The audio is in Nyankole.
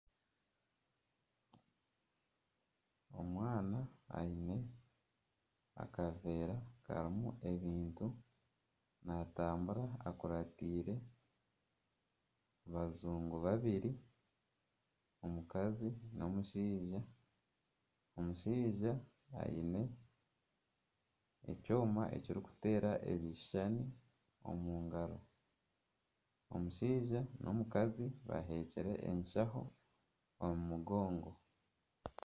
Omwana aine akaveera karimu ebintu. Naatambura akuratiire abajungu babiiri, omukazi n'omushaija. Omushaija aine ekyoma ekirikuteera ebishushani omu ngaro. Omushaija n'omukazi baheekire enshaho omu mugonngo.